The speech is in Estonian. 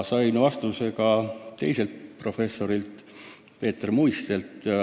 Sain vastuse ka professor Peeter Muistelt.